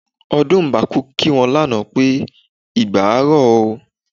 Ọdúnmbákú kí wọn lánàá pé "igba á rọ̀ ó"